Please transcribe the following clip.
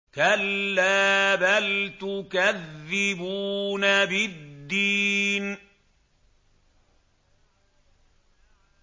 كَلَّا بَلْ تُكَذِّبُونَ بِالدِّينِ